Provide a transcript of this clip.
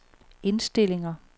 indstillinger